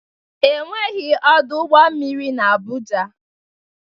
Enweghị ọdụ ụgbọ mmiri n'Abuja.